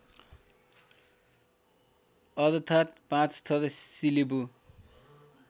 अर्थात् पाँचथर सिलिबु